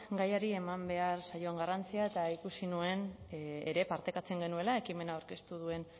gaiari eman behar zaion garrantzia eta ikusi nuen ere partekatzen genuela ekimena aurkeztu duen